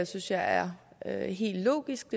synes jeg er er helt logisk